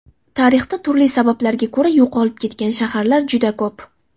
Tarixda turli sabablarga ko‘ra yo‘qolib ketgan shaharlar juda ko‘p.